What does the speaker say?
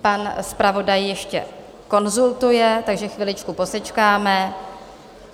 Pan zpravodaj ještě konzultuje, takže chviličku posečkáme.